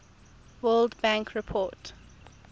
world bank report